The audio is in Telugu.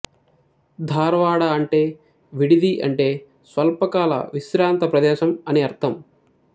ధార్వాడ అంటే విడిది అంటే స్వల్పకాల విశ్రాంత ప్రదేశం అని అర్ధం